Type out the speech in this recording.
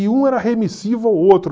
E um era remissivo ao outro.